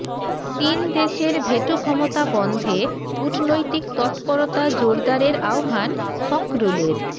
তিন দেশের ভেটো ক্ষমতা বন্ধে কূটনৈতিক তৎপরতা জোরদারের আহ্বান ফখরুলের